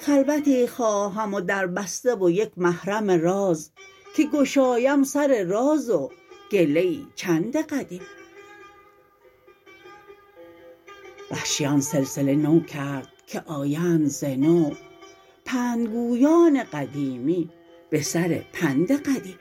خلوتی خواهم و در بسته ویک محرم راز که گشایم سر راز و گله ای چند قدیم وحشی آن سلسله نو کرد که آیند ز نو پندگویان قدیمی به سر پند قدیم